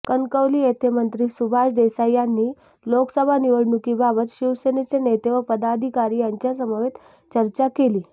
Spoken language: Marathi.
कणकवली येथे मंत्री सुभाष देसाई यांनी लोकसभा निवडणुकीबाबत शिवसेनेचे नेते व पदाधिकारी यांच्यासमवेत चर्चा केली